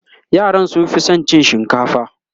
yaran sun Fi San cin shinkafa